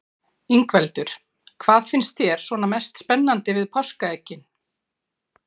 Ingveldur: Hvað finnst þér svona mest spennandi við páskaeggin?